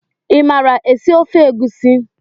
Imara esi ofe egusi?